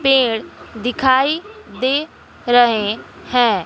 पेड़ दिखाई दे रहे हैं।